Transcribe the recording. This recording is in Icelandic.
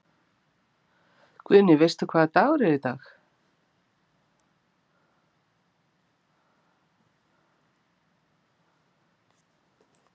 Guðný: Veistu hvaða dagur er í dag?